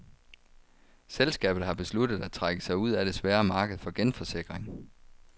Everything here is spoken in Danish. Selskabet har besluttet at trække sig ud af det svære marked for genforsikring.